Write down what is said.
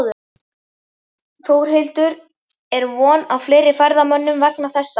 Þórhildur er von á fleiri ferðamönnum vegna þessa?